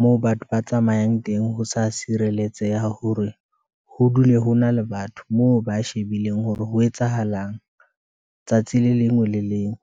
moo batho ba tsamayang teng, ho sa sireletseha hore ho dule ho na le batho, moo ba shebileng hore ho etsahalang, tsatsi le lengwe le leng.